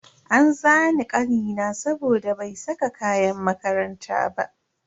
An zane kanina saboda bai saka kayan makaranta ba.